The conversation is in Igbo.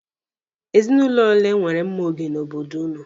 Ezinụlọ ole nwere mma oge n'obodo ụnụ?